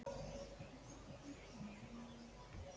Hvar myndi ég vilja spila?